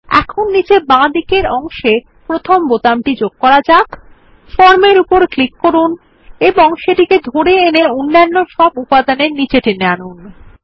এখন নীচের বাঁদিকের অংশে প্রথম বোতামটি যোগ করা যাক ফর্ম এর উপর ক্লিক করুন এবং সেটিকে ধরে সমস্ত অন্যান্য উপাদানের নীচে টেনে আনুন